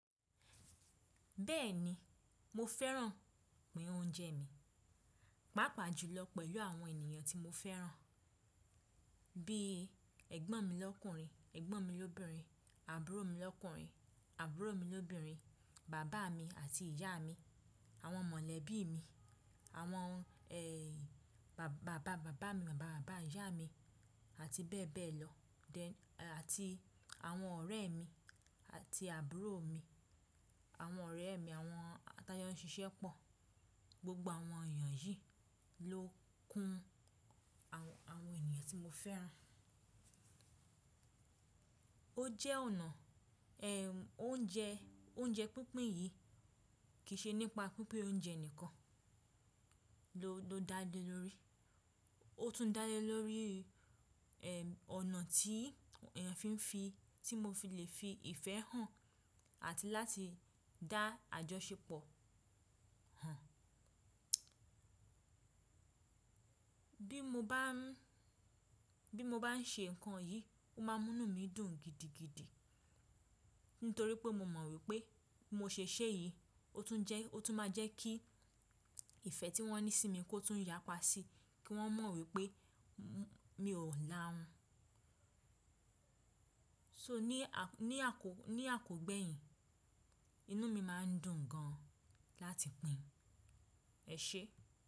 Bẹ́ẹ̀ ni, mo fẹ́ràn pín oúnjẹ mi, pàápàá jùlọ pẹ̀lú àwọn ènìyàn tí mo fẹ́ràn bíi ẹ̀gbọ́n mi lọ́kùnrin, ẹ̀gbọ́n mi lóbìnrin, àbúrò mi lọ́kùnrin, àbúrò mi lóbìnrin, bàbá mi àti ìyá mi, àwọn mọ̀lẹ́bí mi, àwọn ẹ̀, bàbá bàbá mi, bàbá bàbá ìyá mi àti bẹ́ẹ̀ bẹ́ẹ̀ lọ àti àwọn ọ̀rẹ́ mi àti àbúrò mi, àwọn ọ̀rẹ́ mi, àwọn ta jọ n ṣíṣe pọ̀. Gbogbo àwọn èèyàn yìí ló kún àwọn ènìyàn tí mo fẹ́ràn. Ó jẹ́ ọ̀nà, ẹ, oúnjẹ, oúnjẹ pínpín yìí kì í ṣe nípa pínpín oúnjẹ nìkan ló dá lé lórí. Ó tún dá lé lórí, ẹ, ọ̀nà tí èèyàn fi ń fi, tí mo fi lè fi ìfẹ́ hàn àti láti dá àjọṣepọ̀ hàn. Bí mo bá ń, bí mo bá ń ṣe nǹkan yìí, ó máa ń mú mí dùn gidigidi nítorí pé mo mọ̀ wípé bí mo ṣe ṣe é yìí, ó tún jẹ́, ó tún máa jẹ́ kí ìfẹ́ tí wọ́n ní sí mi kó tún yàpá sí i kí wọ́n mọ̀ wípé mi ò láhun. So ní àkó, ní àkọgbẹ́yìn, inú mi máa ń dùn gan láti pín. Ẹ ṣé.